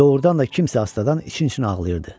Doğrudan da kimsə astadan için-için ağlayırdı.